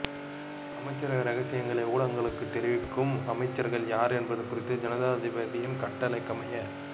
அமைச்சரவை இரகசியங்களை ஊடகங்களுக்கு தெரிவிக்கும் அமைச்சர்கள் யார் என்பது குறித்து ஜனாதிபதியின் கட்டளைக்கமைய